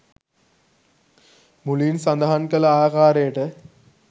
මුලින් සඳහන් කළ ආකාරයට